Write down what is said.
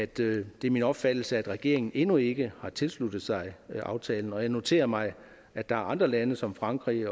det er min opfattelse at regeringen endnu ikke har tilsluttet sig aftalen og jeg noterer mig at der er andre lande som frankrig